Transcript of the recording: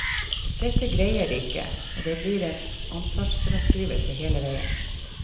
Dette greier de ikke, og det blir en ansvarsfraskrivelse hele veien.